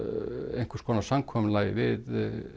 einhvers konar samkomulagi við